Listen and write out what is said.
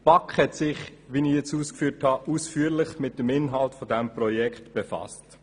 Die BaK hat sich – wie ich eben ausgeführt habe – ausführlich mit dem Inhalt dieses Projekts befasst.